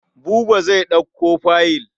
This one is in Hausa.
Buba zai ɗauko fayil.